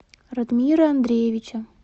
радмира андреевича